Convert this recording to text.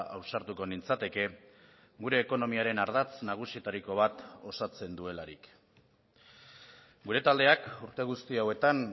ausartuko nintzateke gure ekonomiaren ardatz nagusietariko bat osatzen duelarik gure taldeak urte guzti hauetan